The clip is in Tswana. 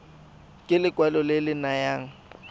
ke lekwalo le le nayang